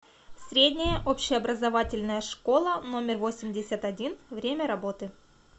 средняя общеобразовательная школа номер восемьдесят один время работы